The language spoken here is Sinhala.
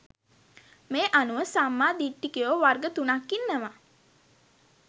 මේ අනුව සම්මා දිට්ඨිකයෝ වර්ග තුනක් ඉන්නවා